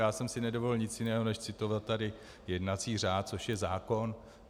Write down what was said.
Já jsem si nedovolil nic jiného než citovat tady jednací řád, což je zákon.